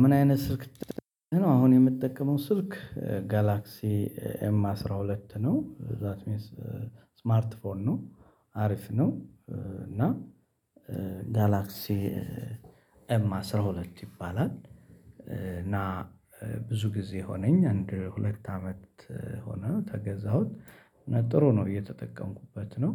ምን አይነት ስልክ ነው አሁን የምትጠቀመው ስልክ ጋላክሲ ኤም አስራ ሁለት ነው ዛት ሚንስ ስማርት ፎን ነው። አሪፍ ነው። እና ጋላክሲ ኤም አስራ ሁለት ይባላል። እና ብዙ ጊዜ ሆነኝ አንድ ሁለት አመት ሆነ ተገዛሁት። ጥሩ ነው እየተጠቀምኩበት ነው።